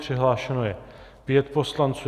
Přihlášeno je pět poslanců.